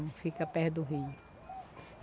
Não fica perto do rio.